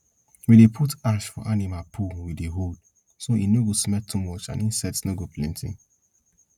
we dey dey put ash for animal poo we dey hold so e no go smell too much and insects no go plenty